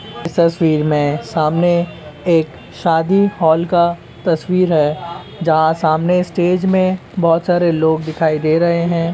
इस तस्वीर में सामने एक शादी हॉल का तस्वीर है जहां सामने स्टेज में बोहोत सारे लोग दिखाई दे रहे हैं ।